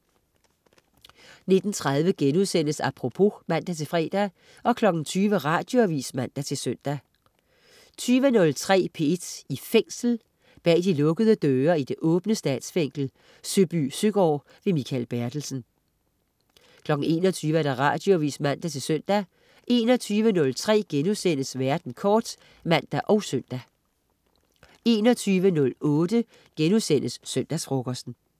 19.30 Apropos* (man-fre) 20.00 Radioavis (man-søn) 20.03 P1 i Fængsel. Bag de lukkede døre i det åbne Statsfængsel Søbysøgaard. Mikael Bertelsen 21.00 Radioavis (man-søn) 21.03 Verden kort* (man og søn) 21.08 Søndagsfrokosten*